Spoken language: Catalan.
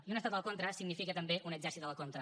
i un estat a la contra significa també un exèrcit a la contra